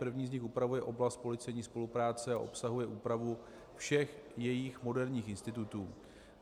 První z nich upravuje oblast policejní spolupráce a obsahuje úpravu všech jejích moderních institutů.